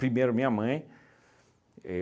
Primeiro, minha mãe.